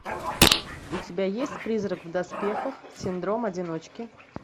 у тебя есть призрак в доспехах синдром одиночки